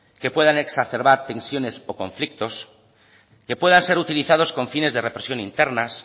que puedan exacerbar tensiones o conflictos que puedan ser utilizados con fines de represión internas